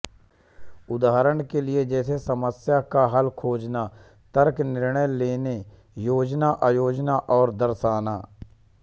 उदाहरण के लिए जैसे समस्या का हल खोजना तर्क निर्णय लेने योजना आयोजन और दर्शाना